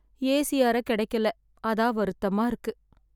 AC அறை கிடைக்கல. அதான் வருத்தமா இருக்கு